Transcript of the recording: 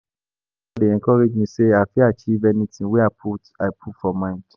My mentor dey encourage me sey I fit achieve anything wey I put I put my mind.